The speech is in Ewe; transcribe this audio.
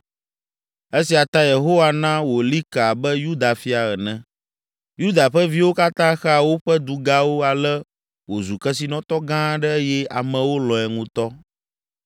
Esia ta Yehowa na wòli ke abe Yuda fia ene. Yuda ƒe viwo katã xea woƒe dugawo ale wòzu kesinɔtɔ gã aɖe eye amewo lɔ̃e ŋutɔ.